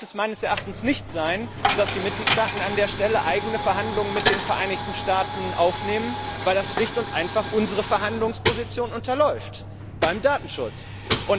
Dann darf es meines Erachtens nicht sein, dass die Mitgliedstaaten an dieser Stelle eigene Verhandlungen mit den Vereinigten Staaten aufnehmen, weil das schlicht und einfach unsere Verhandlungsposition beim Datenschutz unterläuft.